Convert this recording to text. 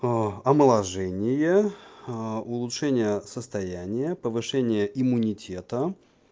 аа омоложение аа улучшение состояния повышение иммунитета